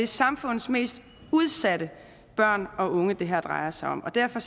samfundets mest udsatte børn og unge det her drejer sig om og derfor